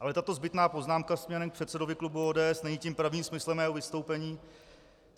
Ale tato zbytná poznámka směrem k předsedovi klubu ODS není tím pravým smyslem mého vystoupení.